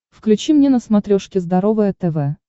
включи мне на смотрешке здоровое тв